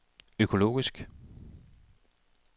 økologisk